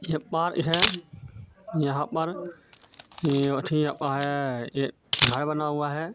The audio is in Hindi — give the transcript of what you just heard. यह पार हे यहाँ पर एक घर बना हुआ हे.